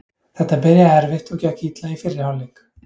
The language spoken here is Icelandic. Þetta byrjaði erfitt og gekk illa í fyrri hálfleik.